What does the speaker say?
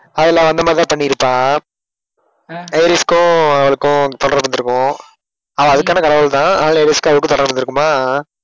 அதுல வந்த மாதிரிதான் பண்ணிருப்பான். ஏரிஸ்க்கும் அவளுக்கும் தொடர்பு இருந்துருக்கும் அஹ் அதுக்கான கடவுள்தான் ஏரிஸ்க்கும் அவளுக்கும் தொடர்பு இருந்துருக்கும்